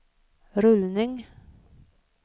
rullning